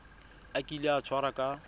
a kile a tshwarwa ka